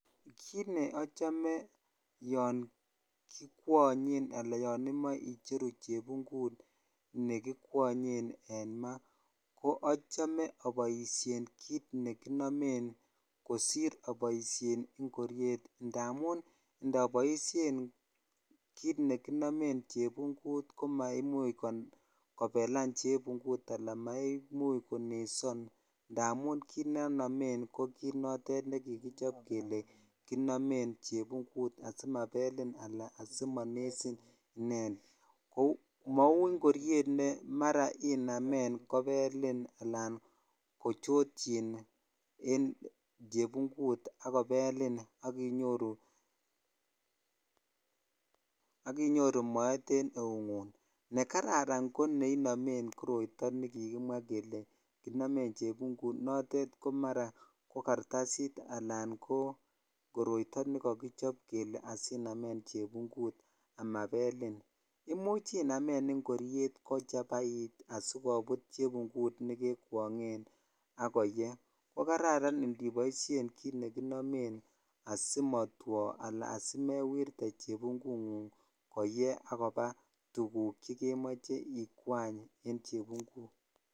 Kiit ne achome yogkiwonye ana yonimoche icheru chebungut nekikwanyen en maa ko achome aboisien kiit ne konomemkosir aboisien ingoroet ndomun ndopoisien kiit nekinomen chebungut komaimuuch kobelan chebungut anan komaimuch koneson ndamun kiit ne anomen ko kiit nekigichob kele simabelin anan simonesin mau ingoroet ne mara inaamen kobelin anan kochotyin en chebungut agobelin akinyoru moet en eungung nekararankoneinomen koroito nekikimwa kele kinomen chebungut notet komara ko kartasit anan ko koroito nekagichob kele asinamen chebungut asimabelin imuch inamen ingoriet kochabait asikobut chebungut nekekwangen akoye ko kararan iniboisiien kiit ne kinomen asimatwoo anan asimewerte chebungungung asimaye agoba tuguk chegemoche ikwany en chebungut ngung